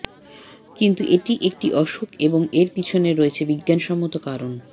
কিন্তু এটি একটি অসুখ এবং এর পিছনে রয়েছে বিজ্ঞানসম্মত কারণ